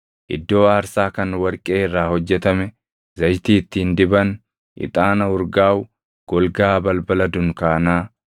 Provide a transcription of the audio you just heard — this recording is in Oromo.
iddoo aarsaa kan warqee irraa hojjetame, zayitii ittiin diban, ixaana urgaaʼu, golgaa balbala dunkaanaa;